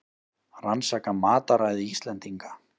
Rannsaka mataræði Íslendinga